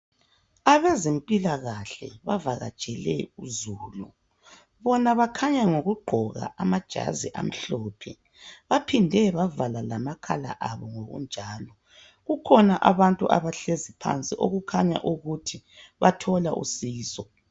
Abezempilakahle bavakatshele uzulu. Bona bakhanya ngokugqoka amajazi amhlophe. Baphinde bavala lamakhala abo ngokunjalo. Kukhona abantu abahlezi phansi okukhanya ukuthi bathola usizo.